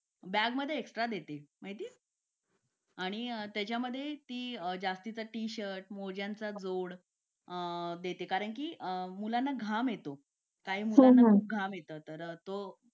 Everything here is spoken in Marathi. लेट होतं सर्दी खोकला हा एक वाढलं आहे. एका मुलाला क्लास पूर्ण क्लास त्याच्यामध्ये वाहून निघत निघत असतो असं म्हणायला हरकत नाही. हो डेंग्यू, मलेरिया यासारखे आजार पण ना म्हणजे लसीकरण आहे. पूर्ण केले तर मला नाही वाटत आहे रोप असू शकतेपुडी लसीकरणाबाबत थोडं पालकांनी लक्ष दिलं पाहिजे की आपला मुलगा या वयात आलेला आहे. आता त्याच्या कोणत्या लसी राहिलेले आहेत का?